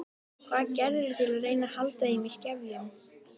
Hvað gerirðu til að reyna að halda þeim í skefjum?